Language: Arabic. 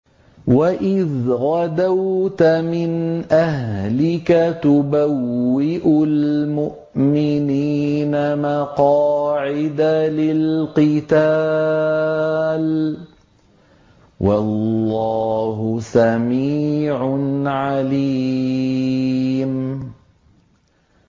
وَإِذْ غَدَوْتَ مِنْ أَهْلِكَ تُبَوِّئُ الْمُؤْمِنِينَ مَقَاعِدَ لِلْقِتَالِ ۗ وَاللَّهُ سَمِيعٌ عَلِيمٌ